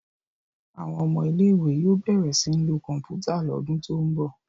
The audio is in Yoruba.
Àwọn ọmọ ilé ìwé yóò bẹrẹ sìn ló Kọ̀ǹpútà l'ọdun to'n bọ.